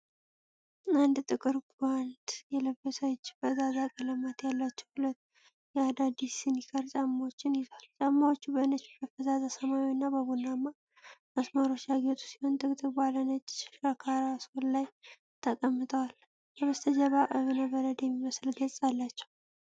አንድ ጥቁር ጓንት የለበሰ እጅ ፈዛዛ ቀለማት ያሏቸው ሁለት የአዲዳስ ስኒከር ጫማዎችን ይዟል። ጫማዎቹ በነጭ፣ በፈዛዛ ሰማያዊና በቡናማ መስመሮች ያጌጡ ሲሆኑ፣ ጥቅጥቅ ባለ ነጭ ሻካራ ሶል ላይ ተቀምጠዋል። ከበስተጀርባ እብነበረድ የሚመስል ገጽ አላቸው።